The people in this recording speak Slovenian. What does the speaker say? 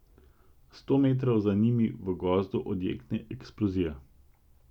Sto metrov za njimi v gozdu odjekne eksplozija.